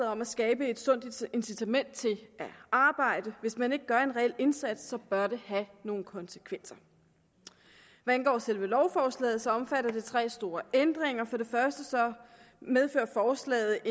om at skabe et sundt incitament til at arbejde hvis ikke man gør en reel indsats bør det have nogle konsekvenser hvad angår selve lovforslaget omfatter det tre store ændringer for det første medfører forslaget